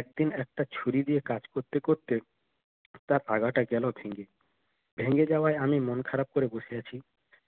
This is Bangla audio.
একদিন একটা ছুরি দিয়ে কাজ করতে করতে তার আগাটা গেল ভেঙ্গে ভেঙ্গে যাওয়ায় আমি মন খারাপ করে বসে আছি